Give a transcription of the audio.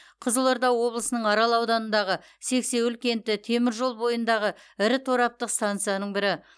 қызылорда облысының арал ауданындағы сексеуіл кенті темір жол бойындағы ірі тораптық стансаның бірі